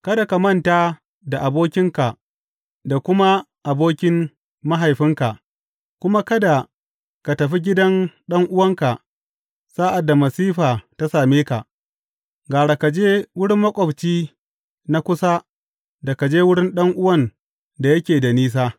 Kada ka manta da abokinka da kuma abokin mahaifinka, kuma kada ka tafi gidan ɗan’uwanka sa’ad da masifa ta same ka, gara ka je wurin maƙwabci na kusa da ka je wurin ɗan’uwan da yake da nisa.